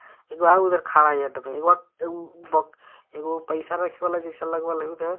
एगो आउर उधर खड़ा हइ आदमी एगो आ एगो बक एगो पाइसा रखे वाला जइसा लगवल हय उधर।